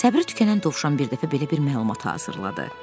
Səbri tükənən dovşan bir dəfə belə bir məlumat hazırladı.